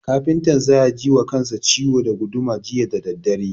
Kafintan za ya ji wa kansa ciwo da guduma jiya da daddare.